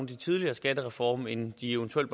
de tidligere skattereformer end de eventuelt